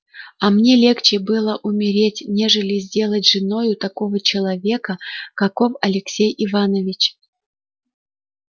а мне легче было умереть нежели сделаться женою такого человека каков алексей иванович